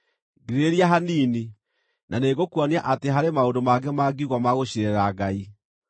“Ngirĩrĩria hanini, na nĩngũkuonia atĩ harĩ maũndũ mangĩ mangiugwo ma gũciirĩrĩra Ngai.